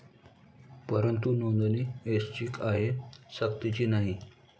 परंतु नोंदणी ऐच्छिक आहे, सक्तीची नाही.